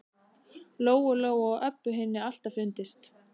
Lóu Lóu og Öbbu hinni alltaf fundist.